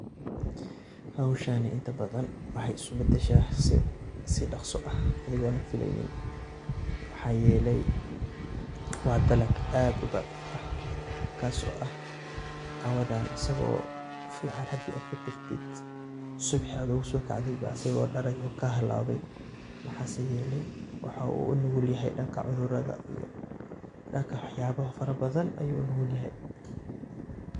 Howshani inta badan waxay iskubadasha sii daqsi ah maxa yele wa dalag aad udacif ah, kasoo oo ah cawada asago fican hada katagtid subixi ad usokacdid asago dalay oo kahalawe, waxase yele waxa uu unugulyahay danka cudurada marka waxyabo fara badan ayu unugulyahay.